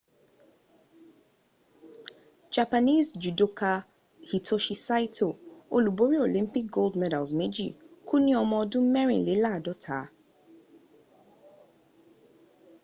japanese judoka hitoshi saito olúborí olympic gold medals méjì kú ni ọmọ ọdún mẹrìnléláàdọ́ta